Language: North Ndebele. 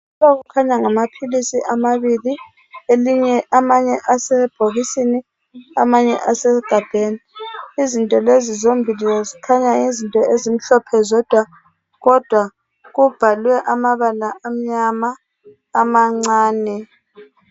kukhanya ngamaphilisi amabili amanye asebhokisini amanye asemagabheni izinto lezi zombili zikhanya yizinto ezimhlophe zodwa kodwa kubhalwe amabaa amnyama amancane